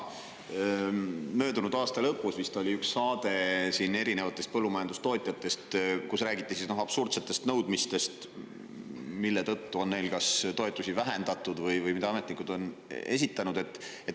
Möödunud aasta lõpus vist oli üks saade põllumajandustootjatest, kus räägiti absurdsetest nõudmistest, mida ametnikud on esitanud ja mille tõttu on tootjatel toetusi vähendatud.